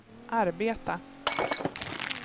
arbeta